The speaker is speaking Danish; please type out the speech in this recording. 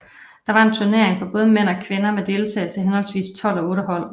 Der var en turnering for både mænd og kvinder med deltagelse af henholdsvis tolv og otte hold